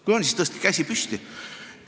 Kui on, siis tõstke käsi püsti.